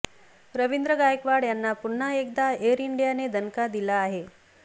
रवींद्र गायकवाड यांना पुन्हा एकदा एअर इंडियाने दणका दिला आहे